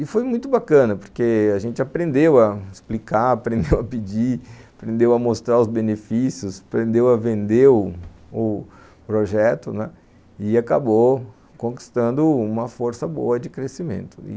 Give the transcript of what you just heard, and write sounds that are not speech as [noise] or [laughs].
E foi muito bacana, porque a gente aprendeu a explicar, [laughs] aprendeu a pedir, aprendeu a mostrar os benefícios, aprendeu a vender o o projeto, e acabou conquistando uma força boa de crescimento.